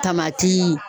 Tamati